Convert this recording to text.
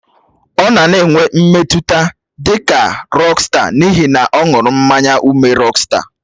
Ọ nọ na-enwe mmetụta dị ka rọksta n'ihi na ọ ṅụrụ mmanya ụme rọksta.